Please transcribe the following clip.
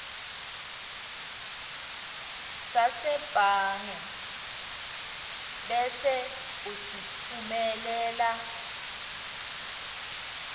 sasebhange bese usitfumelela